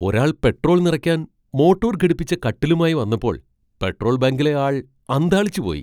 ഒരാൾ പെട്രോൾ നിറയ്ക്കാൻ മോട്ടോർ ഘടിപ്പിച്ച കട്ടിലുമായി വന്നപ്പോൾ പെട്രോൾ ബങ്കിലെ ആൾ അന്ധാളിച്ചുപോയി .